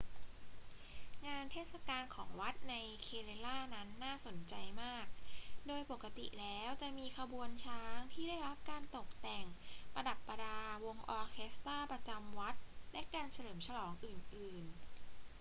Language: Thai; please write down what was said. งานเทศกาลของวัดใน kerala นั้นน่าสนใจมาก โดยปกติแล้วจะมีขบวนช้างที่ได้รับการตกแต่งประดับประดา วงออเคสตร้าประจำวัด และการเฉลิมฉลองอื่น ๆ